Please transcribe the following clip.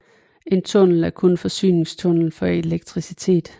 En tunnel er kun forsyningstunnel for elektricitet